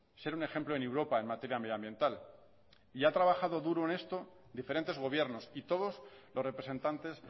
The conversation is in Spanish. ser un ejemplo en europa en materia medioambiental y ha trabajado duro en esto diferentes gobiernos y todos los representantes